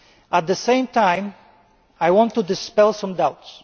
At the same time, I want to dispel some doubts.